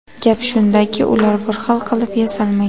Gap shundaki ular bir xil qilib yasalmagan.